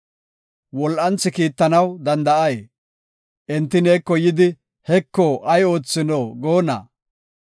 Wol7anthi kiittanaw danda7ay? Enti neeko yidi, “Heko, ay oothino?” goonna?